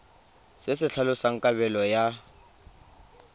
se se tlhalosang kabelo ya